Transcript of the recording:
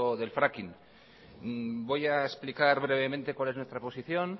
del fracking voy a explicar brevemente cuál es nuestra posición